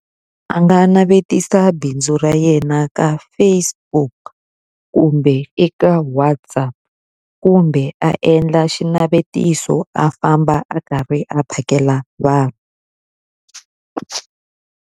A nga navetisa bindzu ra yena ka Facebook, kumbe eka WhatsApp, kumbe a endla xinavetiso a famba a karhi a phakela vanhu.